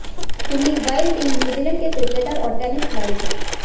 Anthony Wilding New Zealand के cricketer और tennis खिलाड़ी थे